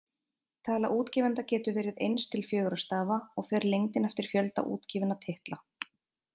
Tala útgefanda getur verið eins til fjögurra stafa, og fer lengdin eftir fjölda útgefinna titla.